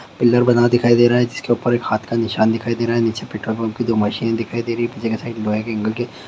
pillar बना दिखाई दे रहा है जिसके ऊपर एक हाथ का निशान दिखाई दे रहा है नीचे पेट्रोल पम्प की दो मशीन दिखाई दे रही है पीछे की साइड लोहे की ग्रिल के --